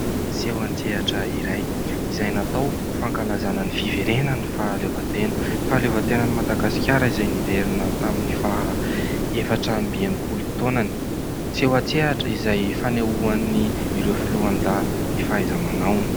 Seho an-tsehatra iray izay natao ho fankalazana ny fiverenan' ny fahaleovan-tena. Fahaleovatenan' i Madagasikara izay niverina tamin'ny faha efatra amby enim-polo taonany. Seho an-tsehatra izay fanehoan'ny ireo foloalindahy ny fahaiza-manaony.